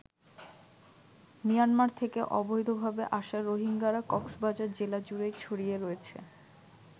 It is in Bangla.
মিয়ানমার থেকে অবৈধভাবে আসা রোহিঙ্গারা কক্সবাজার জেলা জুড়েই ছড়িয়ে রয়েছে।